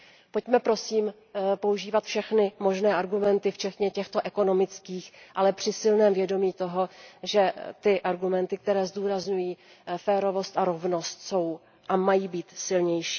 Pojďme, prosím, používat všechny možné argumenty, včetně těchto ekonomických, ale při silném vědomí toho, že ty argumenty, které zdůrazňují férovost a rovnost, jsou a mají být silnější.